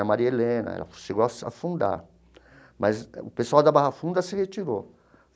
A Maria Helena ela chegou a fundar, mas o pessoal da Barra Funda se retirou.